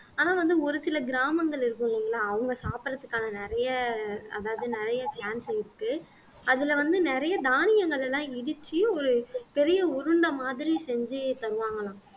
ஆனா வந்து ஒரு சில கிராமங்கள் இருக்கும் இல்லைங்களா அவங்க சாப்பிடறதுக்கான நிறைய அதாவது நிறைய இருக்கு அதுல வந்து நிறைய தானியங்கள் எல்லாம் இடிச்சு ஒரு பெரிய உருண்டை மாதிரி செஞ்சு தருவாங்கலாம்